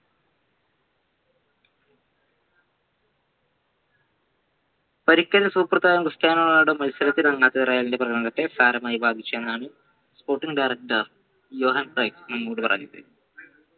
പരിക്കേറ്റ super താരം Cristiano Ronaldo മത്സരത്തിൻ ഇറങ്ങാത്തത് റയലിന്റെ പ്രകടനത്തെ സാരമായി ബാധിച്ചു എന്നാണ് നമ്മോട് പറഞ്ഞത്